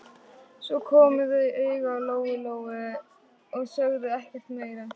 Svo komu þau auga á Lóu-Lóu og sögðu ekkert meira.